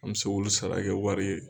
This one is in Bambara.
An bɛ se k'olu sara kɛ wari ye.